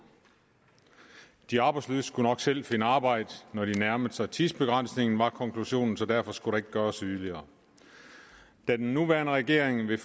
de arbejdsløse skulle nok selv finde arbejde når de nærmede sig tidsbegrænsningen var konklusionen så derfor skulle der ikke gøres yderligere da den nuværende regering ved